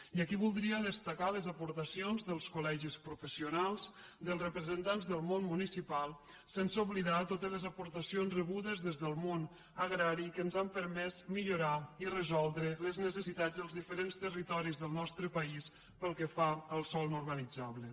i aquí voldria destacar les aportacions dels col·legis professionals dels representants del món municipal sense oblidar totes les aportacions rebudes des del món agrari que ens han permès millorar i resoldre les necessitats dels diferents territoris del nostre país pel que fa al sòl no urbanitzable